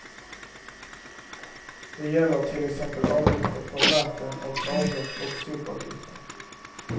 Det gäller till exempel avgifter för vatten och avlopp och sopavgifter.